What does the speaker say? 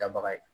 Dabaga ye